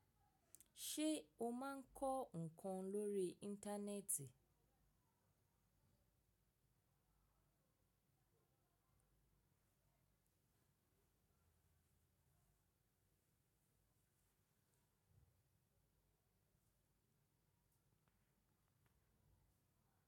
Ṣé o máa ń kọ́ ǹkan lórí Íńtánẹ́ẹ̀tì?